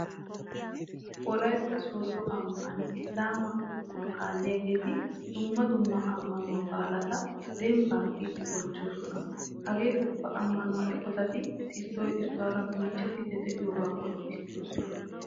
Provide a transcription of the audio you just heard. Wolaytta sooddo ambban Isilaamaa ammanuwa kaalliyageeti dumma dumma ammanuwa baalata dabaabaa kiyidi bonchchoosona. Hagee ubba ammanuwa eqotati issoy issuwara bonchchettidi de'iyogaa qonccissoosona.